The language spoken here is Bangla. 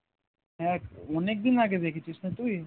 হ্যাঁ অনেক দিন আগে দেখছিস না তুই